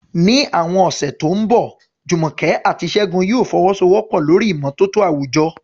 Ní àwọn ọ̀sẹ̀ tó ń bọ̀, Jumoke àti Segun yóò fọwọ́sowọ́pọ̀ lórí ìmọ́tótó àwùjọ